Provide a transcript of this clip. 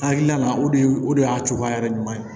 Hakilina o de o de y'a cogoya yɛrɛ ɲuman ye